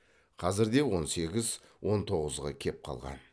қазірде он сегіз он тоғызға кеп қалған